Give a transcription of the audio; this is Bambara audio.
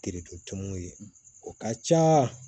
tumuw ye o ka ca